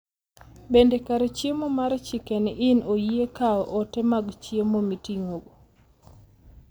Bende kar chiemo mar chicken inn oyie kawo ote mag chiemo miting'o